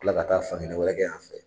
kila ka taa fan kelen wɛrɛ kɛ yan fɛ.